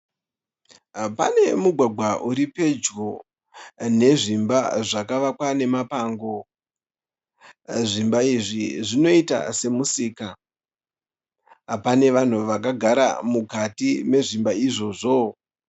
Pane mugwagwa uri pedyo nezvimba zvakavakwa nemapango. Zvimba izvi zvinoita semusika. Pane vanhu vakagara mukati mezvimba izvozvo.